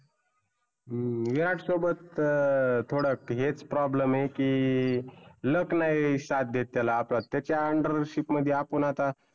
हम्म विरात सोबत अं थोडा हेच problem हे की luck नाही साथ देत त्याला. आता त्याच्या undership मध्ये आपण आता